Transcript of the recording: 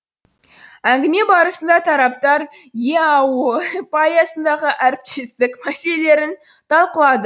әңгіме барысында тараптар еаэо аясындағы әріптестік мәселелерін талқылады